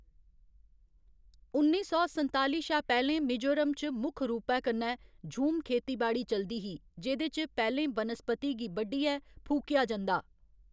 उन्नी सौ संताली शा पैह्‌लें मिजोरम च मुक्ख रूपै कन्नै झूम खेतीबाड़ी चलदी ही जेह्दे च पैह्‌लें बनस्पति गी बड्ढियै फूकेआ जंदा।